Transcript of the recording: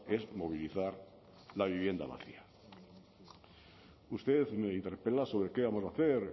es movilizar la vivienda vacía usted me interpela sobre qué vamos a hacer